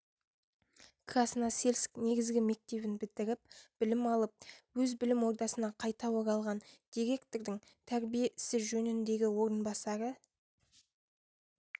красносельск негізгі мектебін бітіріп білім алып өз білім ордасына қайта оралған директордың тәрбие ісі жөніндегі орынбасары